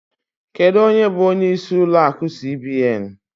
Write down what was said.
Kedụ ónyé bụ ónyé ịsị ụlọ akụ cbn?